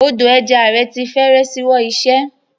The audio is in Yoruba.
Odò ẹja rẹ̀ ti fẹ́rẹ̀ ṣíwọ́ iṣẹ́.